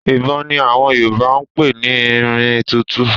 Ìbọn ni àwọn Yorùbá ń pè ní irin tútu